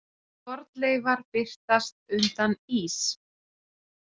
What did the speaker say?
Fornleifar birtast undan ís